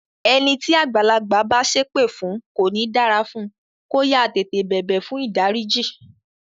Ẹni tí àgbàlagbà bá sépè fún pé kò ní dára fún, kó yáá tètè bẹ̀bẹ̀ fùn ìdáríjì.